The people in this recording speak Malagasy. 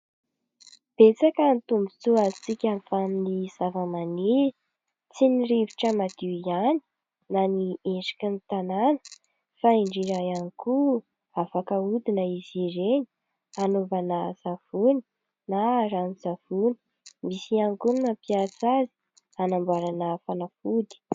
Betsaka ny tombotsoa azontsika avy amin'ny zavamaniry, tsy ny rivotra madio ihany na ny endriky ny tanàna fa indrindra ihany koa afaka aodina izy ireny hanaovana savony na ranon-tsavony ; misy ihany koa ny mampiasa azy hanamboarana fanafody.